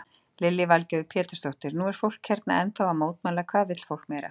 Lillý Valgerður Pétursdóttir: Nú er fólk hérna ennþá að mótmæla, hvað vill fólk meira?